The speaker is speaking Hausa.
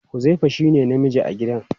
Huzaifa shine namiji a gidan.